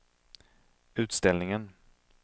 utställningen